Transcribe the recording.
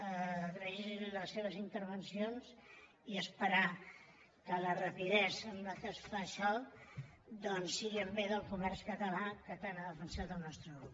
agrair·los les seves intervencions i esperar que la rapidesa amb què es fa això doncs sigui en bé del comerç català que tant ha defensat el nostre grup